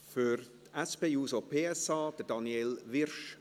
Für die SP-JUSO-PSA: Daniel Wyrsch.